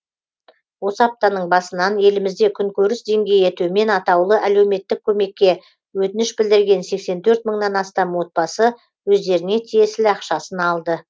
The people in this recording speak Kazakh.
осы аптаның басынан елімізде күн көріс деңгейі төмен атаулы әлеуметтік көмекке өтініш білдірген сексен төрт мыңнан астам отбасы өздеріне тиесілі ақшасын алды